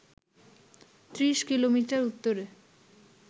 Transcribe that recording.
৩০ kilometre উত্তরে